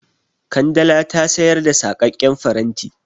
Kandala ta sayar da saƙaƙƙen faranti.